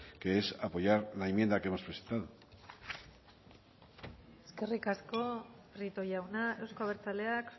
que es apoyar la enmienda que hemos presentado eskerrik asko prieto jauna euzko abertzaleak